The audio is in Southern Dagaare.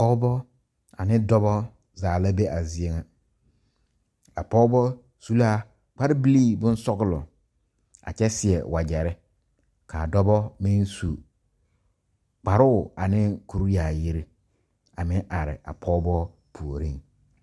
Pɔgebɔ ane dɔbɔ zaa la be a zie nyɛ ,a pɔgebɔ su la kpare bilee boŋ sɔglɔ a kyɛ seɛ wagyɛre ka dɔbɔ meŋ su kparoo ane kuri yaayi a meŋ are a pɔgebɔ puoriŋ.